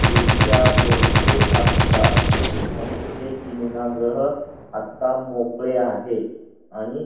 खुर्च्या भरपूर असतात म्हणून हे सिनेमागृह आत्ता मोकळे आहे आणि --